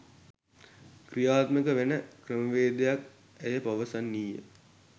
ක්‍රියාත්මක වෙන ක්‍රමවේදයක්" ඇය පවසන්නීය..